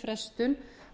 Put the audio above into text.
frestun